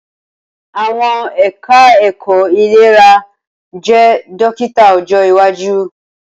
Awọn eka-eko ilera je dokita ojo iwaju